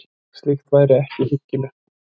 Slíkt væri ekki hyggilegt